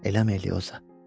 Eləmi Elioza?